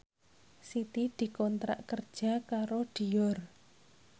Siti dikontrak kerja karo Dior